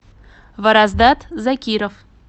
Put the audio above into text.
вараздат закиров